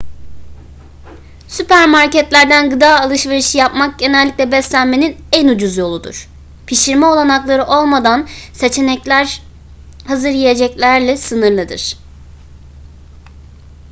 süpermarketlerden gıda alışverişi yapmak genellikle beslenmenin en ucuz yoludur pişirme olanakları olmadan seçenekler hazır yiyeceklerle sınırlıdır